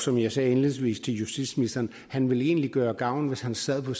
som jeg sagde indledningsvis til justitsministeren han ville egentlig gøre gavn hvis han sad på